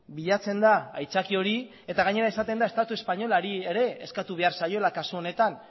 bilatzen da aitzaki hori eta gainera esaten da estatu espainolari ere eskatu behar zaiola kasu honetan